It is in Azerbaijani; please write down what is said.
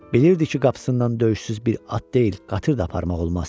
Bilirdi ki qapısından döyüşsüz bir at deyil, qatır da aparmaq olmaz.